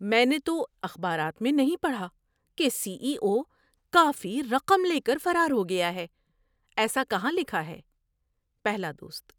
میں نے تو اخبارات میں نہیں پڑھا کہ سی ای او کافی رقم لے کر فرار ہو گیا ہے۔ ایسا کہاں لکھا ہے؟ (پہلا دوست)